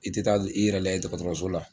I tɛ taa i yɛrɛ layɛ dɔgɔtɔrɔso la.